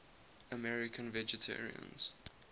american vegetarians